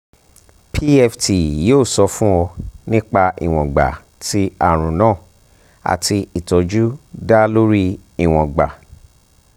pft yoo sọ fun ọ nipa iwongba ti arun naa ati itọju da lori iwongba